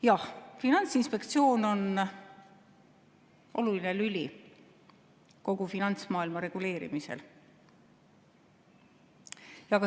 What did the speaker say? Jah, Finantsinspektsioon on oluline lüli kogu finantsmaailma reguleerimisel.